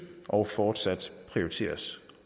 og fortsat prioriteres